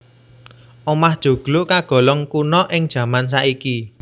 Omah joglo kagolong kuna ing jaman saiki